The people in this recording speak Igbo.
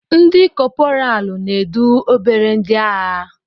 Ndi kopralu na-edu obere ndị agha.